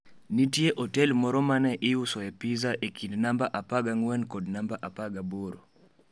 Nitie otel moro ma ne iusoe pizza e kind namba 14 kod namba 18.